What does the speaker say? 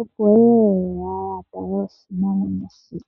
opo yeye ya tale oshinamwenyo shoka.